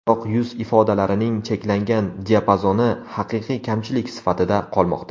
Biroq yuz ifodalarining cheklangan diapazoni haqiqiy kamchilik sifatida qolmoqda.